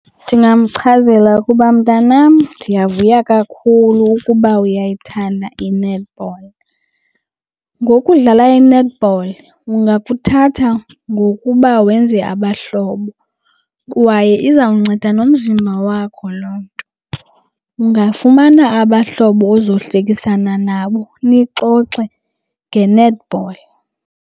Ndingamchazela ukuba mntanam ndiyavuya kakhulu ukuba uyayithanda i-netball. Ngokudlala i-netball ungakuthatha ngokuba wenze abahlobo kwaye izawunceda nomzimba wakho loo nto. Ungafumana abahlobo ozohlekisana nabo nixoxe nge-netball.